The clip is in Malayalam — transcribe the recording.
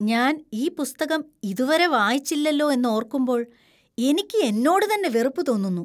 ഞാൻ ഈ പുസ്തകം ഇതു വരെ വായിച്ചില്ലലോ എന്നോർക്കുമ്പോൾ എനിക്ക് എന്നോട് തന്നെ വെറുപ്പ് തോന്നുന്നു.